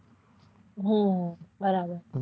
હમ બરાબર